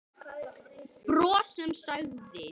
Bros sem sagði